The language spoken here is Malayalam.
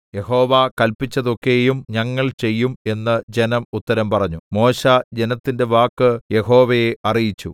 യഹോവ കല്പിച്ചതൊക്കെയും ഞങ്ങൾ ചെയ്യും എന്ന് ജനം ഉത്തരം പറഞ്ഞു മോശെ ജനത്തിന്റെ വാക്ക് യഹോവയെ അറിയിച്ചു